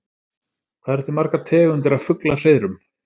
Hvað eru til margar tegundir af fuglahreiðrum?